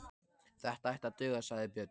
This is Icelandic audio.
Þetta ætti að duga, sagði Björn.